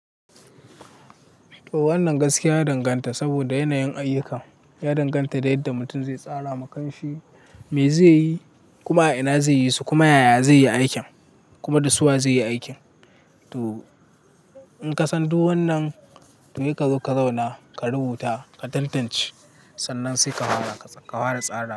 To wannan gaskiya ya danganta saboda yanayin ayyukan ya danganta da yadda mutum zai tsara ma kanshi, me zai yi, kuma ina zai yi su, kuma yaya zai yi aikin kuma da su wa zai yi aikin. To in ka san duk wannan to yai ka zo ka zauna ka rubuta ka tantance sannan sai ka fara tsara.